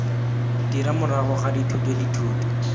dira morago ga dithuto dithuto